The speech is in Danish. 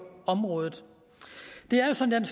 området det er jo sådan